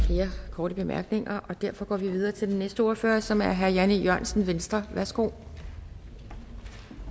korte bemærkninger og derfor går vi videre til den næste ordfører som er herre jan e jørgensen venstre værsgo